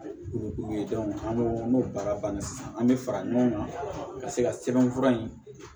Olu ye an'o baara banna sisan an bɛ fara ɲɔgɔn kan ka se ka sɛbɛnfura in